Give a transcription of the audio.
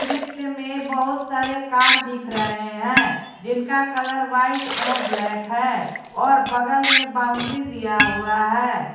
दृश्य बहुत सारे कार दिख रहे हैं जिनका कलर व्हाइट एवं ब्लैक है और बगल में बाउंड्री दिया हुआ है।